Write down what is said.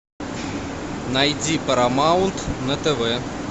найди парамаунт на тв